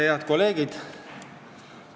Head kolleegid!